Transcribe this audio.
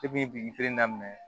Depi feere daminɛ